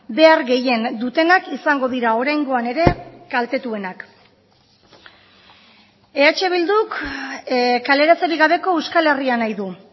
behar gehien dutenak izango dira oraingoan ere kaltetuenak eh bilduk kaleratzerik gabeko euskal herria nahi du